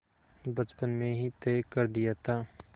बचपन में ही तय कर दिया था